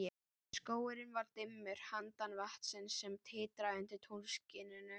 Skógurinn var dimmur handan vatnsins, sem titraði undir tunglskininu.